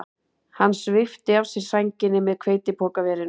Hann svipti af sér sænginni með hveitipokaverinu.